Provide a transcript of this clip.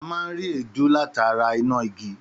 Àmá ń ri édù làtá rà ìnágí.